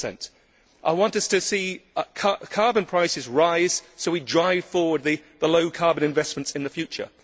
30. I want us to see carbon prices rise so we drive forward the low carbon investments in the future.